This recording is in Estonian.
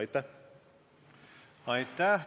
Aitäh!